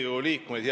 Riigikogu liikmed!